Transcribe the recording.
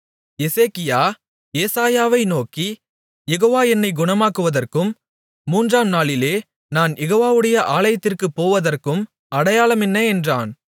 எசேக்கியா ஏசாயாவை நோக்கி யெகோவ என்னைக் குணமாக்குவதற்கும் மூன்றாம் நாளிலே நான் யெகோவவுடைய ஆலயத்திற்குப் போவதற்கும் அடையாளம் என்ன என்றான்